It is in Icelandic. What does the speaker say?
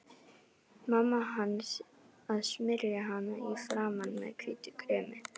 Mamma hans að smyrja hana í framan með hvítu kremi.